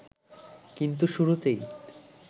কিন্ত শুরুতেই